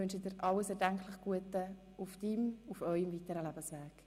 Ich wünsche dir alles erdenklich Gute auf deinem und eurem weiteren Lebensweg.